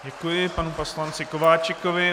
Děkuji panu poslanci Kováčikovi.